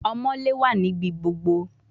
Omoole wa nibi gbogbo